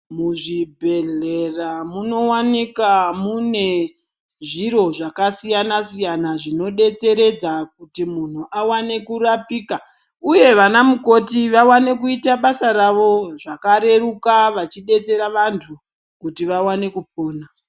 Muzvibhedhlera munowanika mune zviro zvakasiyana siyana zvinodetseredza kuti munhu awane kurapika uye vanamukoti vawane kuita basa ravo zvakareruka vachidetsera vanhu kuti vawane kupona.